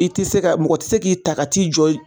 I tɛ se ka , mɔgɔ tɛ se k'i ta ka t'i jɔ yen